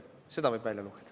Seda võib välja lugeda.